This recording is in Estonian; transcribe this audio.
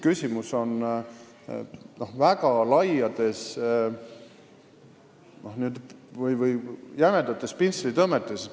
Küsimus on lihtsalt väga laiades või jämedates pintslitõmmetes.